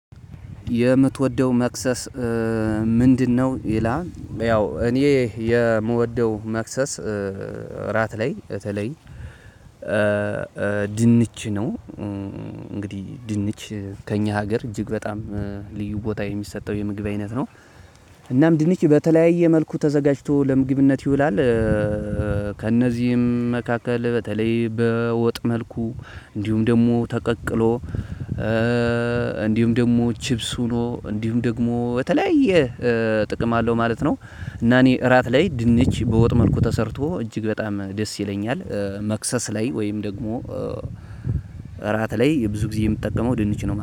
የምትወደው መክሰስ ምንድነው? ይላል ያው እኔ የምወደው መክሰስ እራት ላይ በተለይ ድንች ነው። እንግዲህ ድንች ከእኛ ሀገር እጅግ በጣም ልዩ ቦታ የሚሰጠው የምግብ አይነት ነው። እናም ድንች በተለያየ መልኩ ተዘጋጅቶ ለምግብነት ይውላል። ከእነዚህም መካከል በተለይ በወጥ መልኩ እንዲሁም ደግሞ ተቀቅሎ እንዲሁም ደግሞ ቺፕስ ሆኖ እንዲሁም ደግሞ በተለያየ ጥቅም አለው ማለት ነው። እና እኔ እራት ላይ ድንች በወጥ መልኩ ተሰርቶ እጅግ በጣም ደስ ይለኛል። መክሰስ ላይ ወይም ደግሞ እራት ላይ ብዙ ጊዜ የምጠቀመው ድንች ነው